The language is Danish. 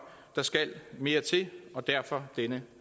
der skal mere til og derfor denne